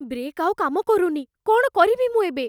Brake ଆଉ କାମ କରୁନି । କ'ଣ କରିବି ମୁଁ ଏବେ?